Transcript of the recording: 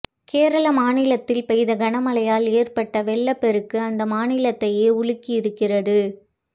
கேரள மாநிலத்தில் பெய்த கனமழையால் ஏற்பட்ட வெள்ளப்பெருக்கு அந்த மாநிலத்தையே உலுக்கி இருக்கிறது